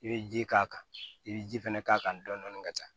I bɛ ji k'a kan i bɛ ji fɛnɛ k'a kan dɔɔnin dɔɔnin ka taa